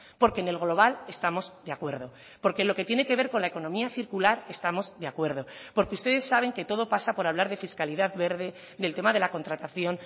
porque en el global estamos de acuerdo porque lo que tiene que ver con la economía circular estamos de acuerdo porque ustedes saben que todo pasa por hablar de fiscalidad verde del tema de la contratación